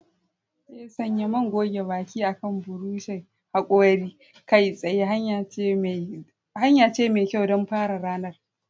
Ee, sanya man goge baki akan buroshin hakori kai tsaye hanya ce mai kyau don fara ranar.